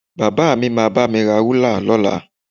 Bàbá mi máa bá mi ra rúlà lọ́la